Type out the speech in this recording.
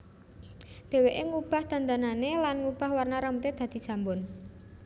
Dheweké ngubah dandanané lan ngubah warna rambuté dadi jambon